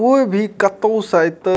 कोई भी कतो से अइतो --